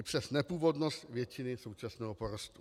I přes nepůvodnost většiny současného porostu.